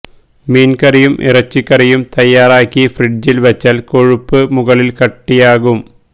മീന് കറിയും ഇറച്ചിക്കറിയും തയ്യാറാക്കി ഫ്രിഡ്ജില് വച്ചാല് കൊഴുപ്പ് മുകളില് കട്ടിയാകും